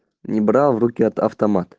не брал в руки от автомат